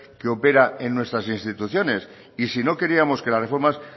que operan en nuestras instituciones y si no queríamos que las reformas